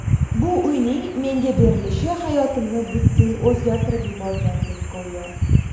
Bu uyning menga berilishi hayotimni butkul o‘zgartirib yuborgandek go‘yo.